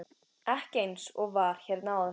Ekki eins og var hérna áður.